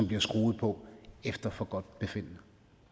bliver skruet på efter forgodtbefindende